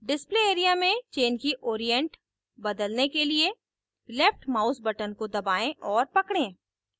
display area में chain की orient बदलने के लिए left mouse button को दबाएं और पकड़ें